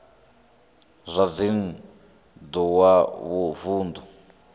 zwa dzinn ḓu wa vunḓu